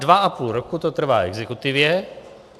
Dva a půl roku to trvá exekutivě.